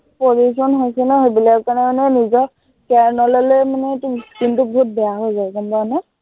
pollution হৈছে ন, সেইবালিকৰ কাৰনে মানে নিজৰ care নললে মানে তোৰ skin টো বহুত বেয়া হৈ যায় গম পাৱ নে?